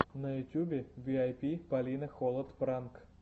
на ютьюбе виайпи полина холод пранк